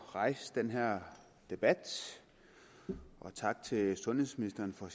at rejse den her debat og tak til sundhedsministeren for